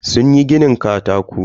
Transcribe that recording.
Sunyi ginin katako.